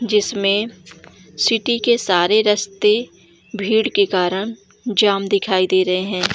जिसमें सिटी के सारे राश्ते भीड़ के कारण जाम दिखाई दे रहे हैं।